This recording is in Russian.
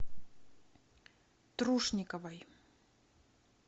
трушниковой